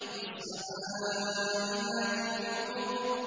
وَالسَّمَاءِ ذَاتِ الْحُبُكِ